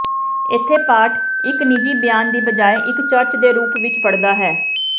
ਇੱਥੇ ਪਾਠ ਇੱਕ ਨਿੱਜੀ ਬਿਆਨ ਦੀ ਬਜਾਏ ਇੱਕ ਚਰਚ ਦੇ ਰੂਪ ਵਿੱਚ ਪੜਦਾ ਹੈ